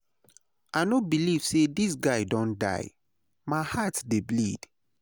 I no believe say this guy don die, my heart dey bleed.